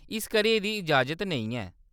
इस करियै एह्‌‌‌दी इजाज़त नेईं ऐ।